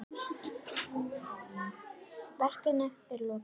Verkinu er ekki lokið.